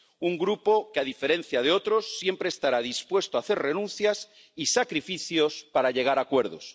un Grupo que, a diferencia de otros, siempre estará dispuesto a hacer renuncias y sacrificios para llegar a acuerdos